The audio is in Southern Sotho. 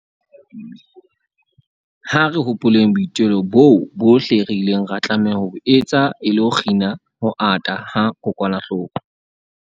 Ha re hopoleng boitelo boo bohle re ileng ra tlameha ho bo etsa e le ho kgina ho ata ha kokwanahloko